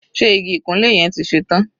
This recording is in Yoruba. Ṣe igi ìkunlé yẹn ti ṣe tán?